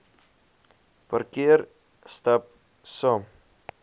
parkeer stap saam